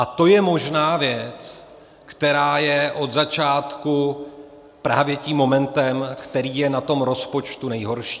A to je možná věc, která je od začátku právě tím momentem, který je na tom rozpočtu nejhorší.